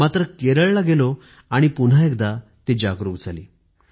मात्र केरळला गेलो आणि पुन्हा एकदा ती सवय जागरूक झाली